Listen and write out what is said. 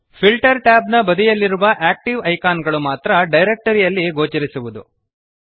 filter tab ನ ಬದಿಯಲ್ಲಿರುವ active icon ಗಳು ಮಾತ್ರ ಡಿರೆಕ್ಟರಿ ಯಲ್ಲಿ ಗೋಚರಿಸುವವು